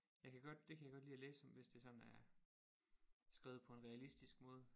Jeg kan godt det kan jeg godt lide at læse om hvis det sådan er skrevet på en realistisk måde